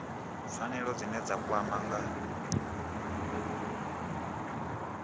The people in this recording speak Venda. pfanelo dzine dza kwama nga